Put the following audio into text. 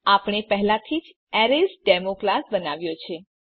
આપણે પહેલાથી જ એરેસડેમો ક્લાસ બનાવ્યો છે